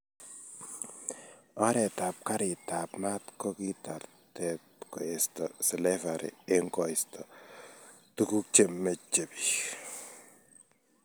Oret ab karit ab mat ko kitartet koesto slavari, eng koisto tukuk chemeche bik.